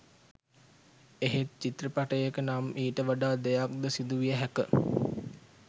එහෙත් චිත්‍රපටයක නම් ඊට වඩා දෙයක් ද සිදුවිය හැක